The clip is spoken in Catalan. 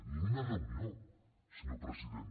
ni una reunió senyor president